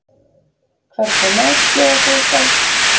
Hvernig mat bjóða þau upp á?